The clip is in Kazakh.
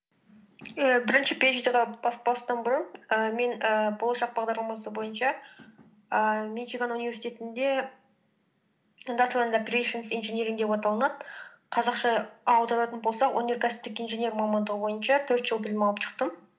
ііі бірінші пиэйчди ға баспастан бұрын і мен ііі болашақ бағдарламасы бойынша ііі мичиган университетінде индастриал энд оперэйшэнс инжиниринг деп аталынады қазақша аударатын болсақ өнеркәсіптік инженер мамандығы бойынша төрт жыл білім алып шықтым